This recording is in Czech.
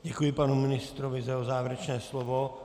Děkuji panu ministrovi za jeho závěrečné slovo.